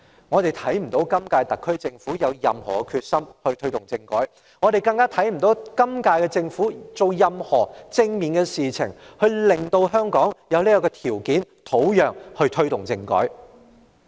我們不見今屆特區政府有何決心推動政改，我們更不見今屆政府做任何正面的事情，來令香港具備這個條件和土壤推動政改。